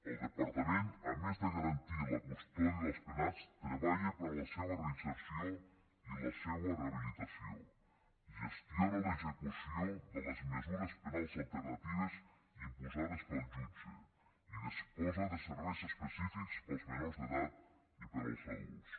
el departament a més de garantir la custòdia dels penats treballa per la seua reinserció i la seua rehabilitació gestiona l’execució de les mesures penals alternatives imposades pel jutge i disposa de serveis específics per als menors d’edat i per als adults